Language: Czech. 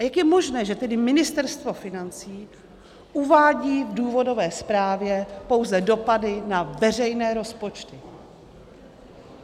A jak je možné, že tedy Ministerstvo financí uvádí v důvodové zprávě pouze dopady na veřejné rozpočty?